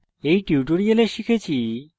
এই টিউটোরিয়াল শিখেছি